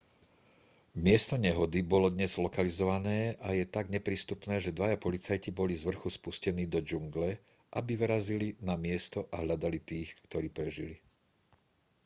miesto nehody bolo dnes lokalizované a je tak neprístupné že dvaja policajti boli zvrchu spustení do džungle aby vyrazili na miesto a hľadali tých ktorí prežili